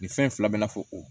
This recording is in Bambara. Nin fɛn fila bɛn'a fɔ o